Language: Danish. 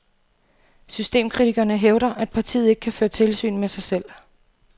Systemkritikerne hævder, at partiet ikke kan føre tilsyn med sig selv.